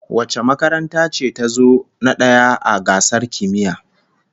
Wace makaranta ce tazo na daya a gasar kimiyya?